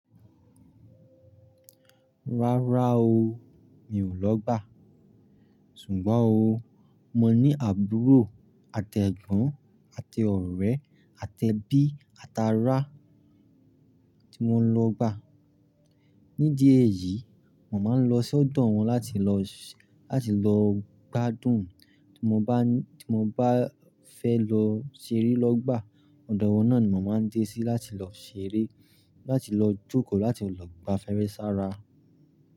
Rárá o, mi ò lọ gbà. Sùgbọ́n o, mo ní àbúrò àtẹ̀gbọ́n àti ọ̀rẹ́ àtẹbí atá rá tí mo ń lọ gbà. Nídí èyìí, mo máa ń lọ sọ́dọ̀ wọn láti lọ, láti lọ gbádùn tí mo bá, tí mo bá fẹ́ lọ ṣeré lọ́gbà. Ọ̀dọ̀ wọn ni mo máa ń dé sí láti lọ ṣeré, láti lọ jókòó, láti lọ gba'feèrè s'ara.